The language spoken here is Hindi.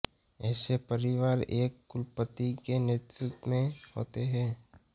ऐसे परिवार एक कुलपति के नेतृत्व में होते हैं